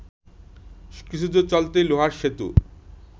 কিছুদূর চলতেই লোহার সেতু